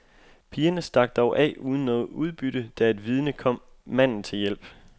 Pigerne stak dog af uden noget udbytte, da et vidne kom manden til hjælp.